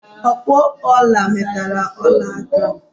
Ọkpụ ọla meterem ọla aka!